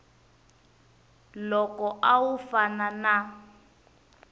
loko a wu fana na